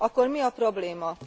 Akkor mi a probléma?